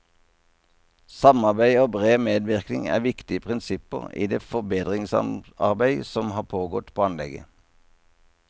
Samarbeid og bred medvirkning er viktige prinsipper i det forbedringsarbeid som har pågått på anlegget.